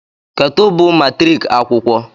kedu bụ matriki akwụkwọ